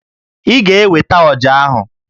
Ị ga-eweta ọjà ahụ!